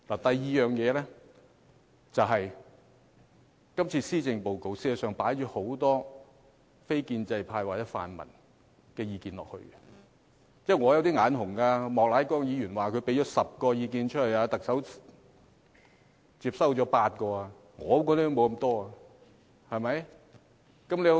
第二是今次的施政報告實在放入很多非建制派或泛民的意見，這是令我有一點眼紅的，莫乃光議員說他提出了10項意見，特首接收了8項，我提出的也沒有接收得如此多。